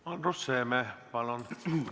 Andrus Seeme, palun!